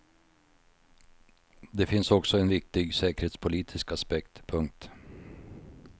Det finns också en viktig säkerhetspolitisk aspekt. punkt